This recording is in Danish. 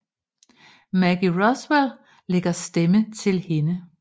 Maggie Roswell lægger stemme til hende